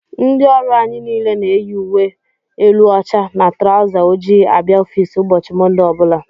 Ndị ọrụ anyị niile na-eyi ùwé élú óchá na trauzer ojii abịa ọffici ụbọchị Monde ọbula.